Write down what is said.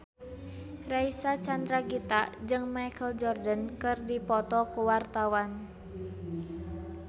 Reysa Chandragitta jeung Michael Jordan keur dipoto ku wartawan